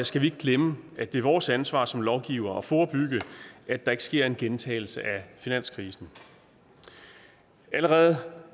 skal vi ikke glemme at det er vores ansvar som lovgivere at forebygge at der ikke sker en gentagelse af finanskrisen allerede